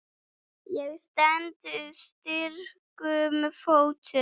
Ég stend styrkum fótum.